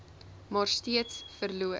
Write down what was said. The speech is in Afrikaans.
maar steeds verloor